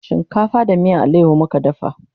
shinkafa da miyan alayaho muka dafa